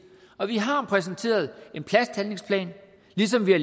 og vi har præsenteret en plasthandlingsplan ligesom vi har